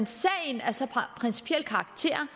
sagen har så principiel karakter